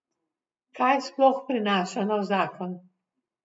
Kaj sploh prinaša nov zakon?